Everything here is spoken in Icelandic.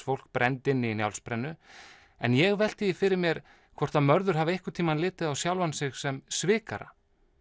fólk brennt inni í Njálsbrennu en ég velti því fyrir mér hvort Mörður hafi litið á sjálfan sig sem svikara